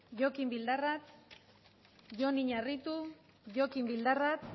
jokin bildarratz jon iñarritu jokin bildarratz